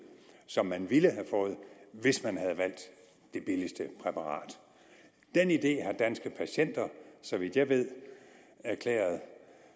som man ville have fået hvis man havde valgt det billigste præparat den idé har danske patienter så vidt jeg ved erklæret